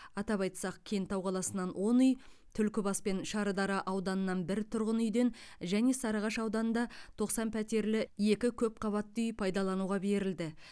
атап айтсақ кентау қаласынан он үй түлкібас пен шардара ауданынан бір тұрғын үйден және сарыағаш ауданында тоқсан пәтерлі екі көпқабатты үй пайдалануға берілді